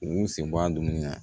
U b'u sen bɔ a dumuni na